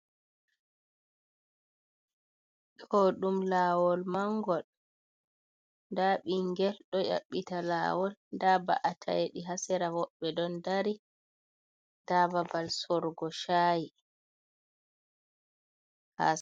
Ɗo ɗum laawol mangol. Nda ɓingel ɗo ƴaɓɓita laawol. Nda mba’ataeɗi ha sera, woɓbe ɗon dari. Nda babal sorugo shaayi.